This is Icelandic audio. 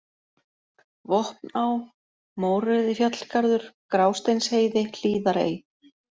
Vopná, Mórauðifjallgarður, Grásteinsheiði, Hlíðarey